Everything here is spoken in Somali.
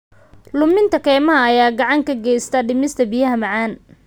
Luminta kaymaha ayaa gacan ka geysta dhimista biyaha macaan.